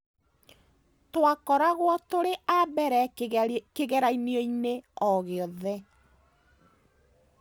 Twakoragwo tũrĩ a mbere kĩgeranio-inĩ o gĩothe.